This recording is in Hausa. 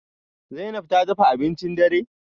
Zainab ta dafa abincin dare?